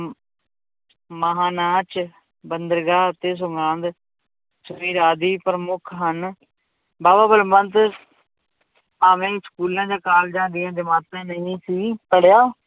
ਮਹਾਂ ਨਾਚ, ਬੰਦਰਗਾਹ ਅਤੇ ਆਦਿ ਪ੍ਰਮੁੱਖ ਹਨ ਬਾਵਾ ਬਲਵੰਤ ਭਾਵੇਂ ਸਕੂਲਾਂ ਜਾਂ ਕਾਲਜਾਂ ਦੀਆਂ ਜਮਾਤਾਂ ਨਹੀਂ ਸੀ ਪੜ੍ਹਿਆ